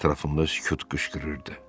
Ətrafımda sükut qışqırırdı.